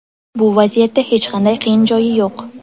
Bu vaziyatda hech qanday qiyin joyi yo‘q.